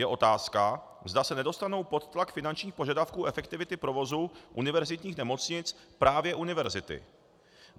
Je otázka, zda se nedostanou pod tlak finančních požadavků efektivity provozu univerzitních nemocnic právě univerzity.